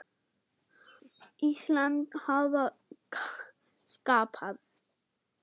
Íslands hafa skapað.